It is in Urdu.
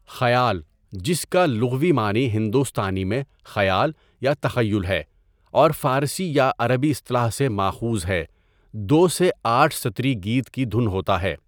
خیال، جس کا لغوی معنی ہندوستانی میں 'خیال' یا 'تخیل' ہے اور فارسی یا عربی اصطلاح سے ماخوذ ہے، دو سے آٹھ سطری گیت کی دھن ہوتا ہے.